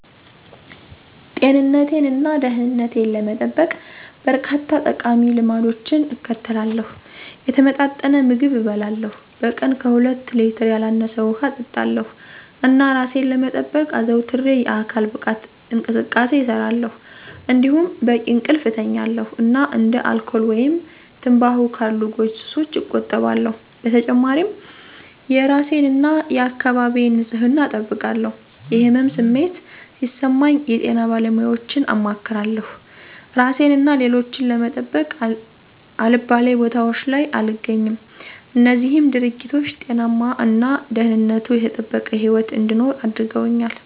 ጤንነቴን እና ደህንነቴን ለመጠበቅ፣ በርካታ ጠቃሚ ልማዶችን እከተላለሁ። የተመጣጠነ ምግብ እበላለሁ፣ በቀን ከሁለት ሌትር ያላነሰ ውሃ እጠጣለሁ፣ እና እራሴን ለመጠበቅ አዘውትሬ የአካል ብቃት እንቅስቃሴ እሰራለሁ። እንዲሁም በቂ እንቅልፍ እተኛለሁ እና እንደ አልኮል ወይም ትምባሆ ካሉ ጎጂ ሱሶች እቆጠባለሁ። በተጨማሪም የእራሴን እና የአካባቢዬን ንፅህና እጠብቃለሁ። የህመም ስሜት ሲሰማኝ የጤና ባለሙያወችን አማክራለሁ። እራሴን እና ሌሎችን ለመጠበቅ አልባሌ ቦታወች ላይ አልገኝም። እነዚህም ድርጊቶች ጤናማ እና ደህንነቱ የተጠበቀ ህይወት እንድኖር አድርገውኛል።